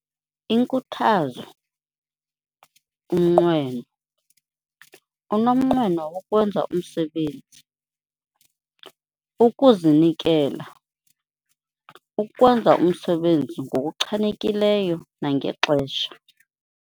Inkuthazo - Umnqweno, unomnqweno wokwenza umsebenzi, Ukuzinikela, ukwenza umsebenzi ngokuchanekileyo nangexesha.